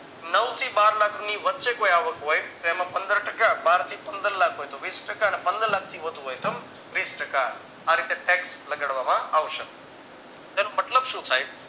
નવથી બાર લાખની વચ્ચે કોઈ આવક હોય તો એમાં પંદર ટકા બારથી પંદરલાખ રૂપિયા હોય તો વિસ ટકા અને પંદરલાખ થી વધુ હોય તો ત્રીસ ટકા આ રીતે tax લગાડવામાં આવશે તેનો મતલબ શું થાય